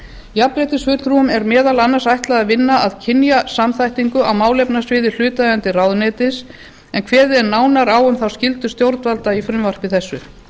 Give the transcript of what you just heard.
jafnréttisfulltrúum er meðal annars ætlað að vinna að kynjasamþættingu á málefnasviði hlutaðeigandi ráðuneytis en kveðið er nánar um þá skyldu stjórnvalda í frumvarpi þessu